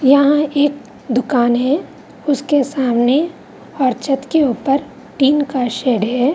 यहाँ एक दुकान है उसके सामने और छत के ऊपर टिन का शेड है।